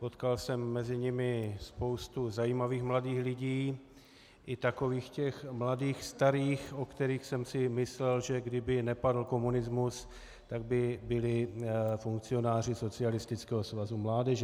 Potkal jsem mezi nimi spousty zajímavých mladých lidí, i takových těch mladých starých, o kterých jsem si myslel, že kdyby nepadl komunismus, tak by byli funkcionáři Socialistického svazu mládeže.